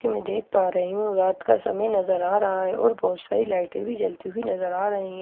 कि मैं देख पा रही हूं रात का समय नजर आ रहा है और बहुत सारी लाइटें भी जलती हुई नजर आ रही हैं।